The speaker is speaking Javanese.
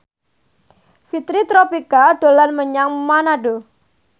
Fitri Tropika dolan menyang Manado